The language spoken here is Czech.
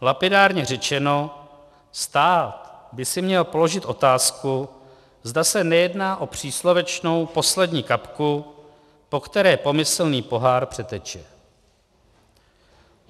Lapidárně řečeno, stát by si měl položit otázku, zda se nejedná o příslovečnou poslední kapku, po které pomyslný pohár přeteče.